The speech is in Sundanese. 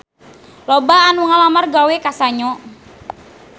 Loba anu ngalamar gawe ka Sanyo